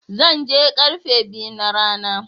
Zan je karfe biyu na rana.